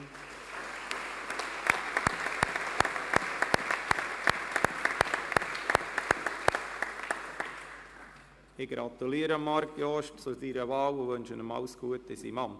Ich gratuliere Marc Jost zu seiner Wahl und wünsche ihm alles Gute in seinem Amt.